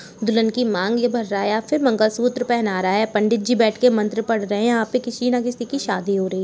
दुल्हन की माँग ये भर रहा है या फिर मंगल सूत्र पहना रहा है। पंडित जी बैठ के मंत्र पढ़ रहे हैं। यहाँ पे किसी न किसी की शादी हो रही है।